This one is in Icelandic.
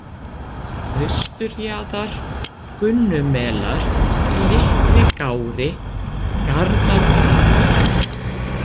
Austurjaðar, Gunnumelar, Litligári, Garðatraðir